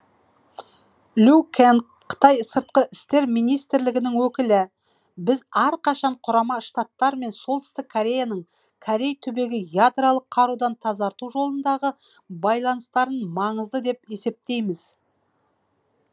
лю кэнг қытай сыртқы істер министрлігінің өкілі біз әрқашан құрама штаттар мен солтүстік кореяның корей түбегін ядролық қарудан тазарту жолындағы байланыстарын маңызды деп есептейміз